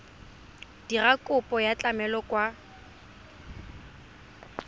dira kopo ya tlamelo kwa